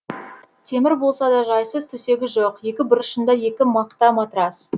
темір болса да жайсыз төсегі жоқ екі бұрышында екі мақта матрас